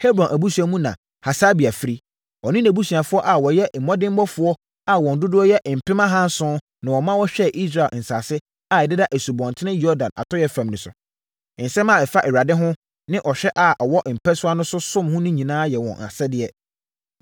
Hebron abusua mu na Hasabia firi. Ɔne nʼabusuafoɔ a wɔyɛ mmɔdemmɔfoɔ a wɔn dodoɔ yɛ apem ahanson na wɔma wɔhwɛɛ Israel nsase a ɛdeda Asubɔnten Yordan atɔeɛ fam no so. Nsɛm a ɛfa Awurade ho, ne ɔhene a ɔwɔ mpasua no so som ho nyinaa yɛ wɔn asɛdeɛ.